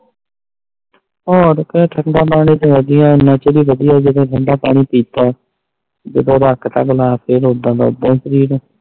ਹੋਰ ਕਿ ਠੰਡਾ ਪਾਣੀ ਤਾ ਵਦੀਆਂ ਮੱਚ ਦੀ ਧੁੱਪ ਚ ਕਿਥੇ ਠੰਡਾ ਪਾਣੀ ਪਿਤਾ ਜਦੋ ਰੱਖ ਤਾ ਗਲਾਸ ਫਰ ਓਦਾਂ ਦਾ ਓਦਾਂ ਸ਼ਰੀਰ